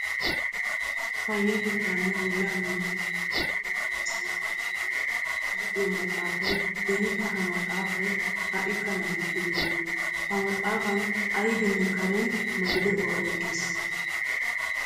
Payyatettaanne bollaa minttettuwa luxiyo heezzantta kifiliyaa luxiyo maxaafaay benikka ha maxaafaay haikka laamettibena. Ha maxaafaan aybine karen mali be'uwa oyqqiis.